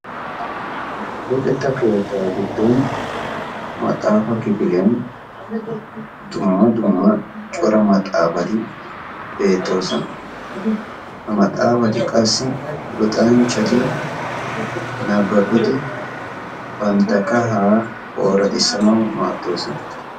luxetta keetta gidoni maaxxafa keettani dumma dumma maxxafati beettosona ha maxxafatikka tamareti nababidi bantta timirtiya kaha assanau maadosona.